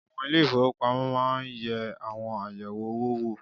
Àwọn ilé ìfowópamọ́ máa ń àwọn ayẹ̀wé owó wò